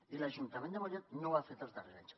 i l’ajuntament de mollet no ho ha fet els darrers anys